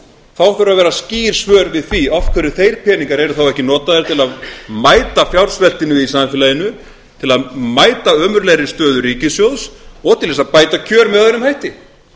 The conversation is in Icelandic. þá þurfa að vera skýr svör við því af hverju þeir peningar eru þá ekki notaðir til að mæta fjársveltinu í samfélaginu til að mæta ömurlegri stöðu ríkissjóðs og til þess að bæta kjör með öðrum hætti